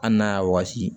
Hali n'a y'a wɔsi